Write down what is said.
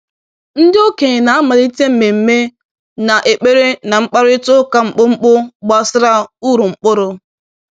Ndi okenye na-amalite mmemme a na ekpere na mkparịta ụka mkpụmkpụ gbasara uru mkpụrụ